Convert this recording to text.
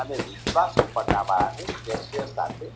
અને વિશ્વાશું પટ્ટાવાળાને